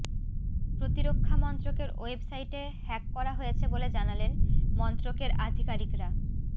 প্রতিরক্ষা মন্ত্রকের ওয়েবসাইটে হ্যাক করা হয়েছে বলে জানালেন মন্ত্রকের আধিকারিকরা